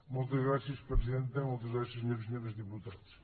moltes gràcies presidenta moltes gràcies senyores i senyors diputats